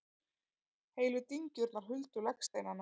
Heilu dyngjurnar huldu legsteinana.